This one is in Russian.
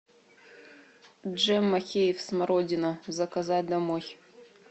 джем махеевъ смородина заказать домой